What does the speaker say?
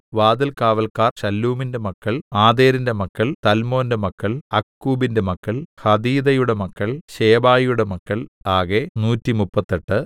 വാതിൽകാവല്ക്കാർ ശല്ലൂമിന്റെ മക്കൾ ആതേരിന്റെ മക്കൾ തൽമോന്റെ മക്കൾ അക്കൂബിന്റെ മക്കൾ ഹതീതയുടെ മക്കൾ ശോബായിയുടെ മക്കൾ ആകെ നൂറ്റിമുപ്പത്തെട്ട്